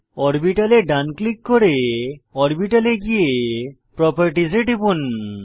অরবিটালে ডান ক্লিক করে অরবিটাল এ গিয়ে প্রপার্টিস এ টিপুন